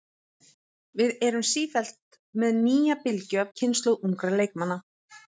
Við erum sífellt með nýja bylgju af kynslóð ungra leikmanna.